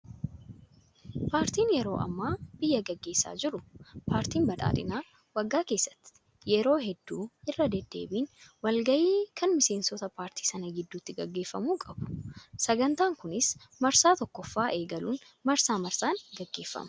Paartiin yeroo ammaa biyya gaggeessaa jiru paartiin badhaadhinaa waggaa keessatti yeroo hedduu irra deddeebiin walgayii kan miseensota paartii Sana gidduutti gaggeeffamu qabu. Sagantaan Kunis marsaa tokkoffaa eegaluun marsaa marsaan gaggeeffama.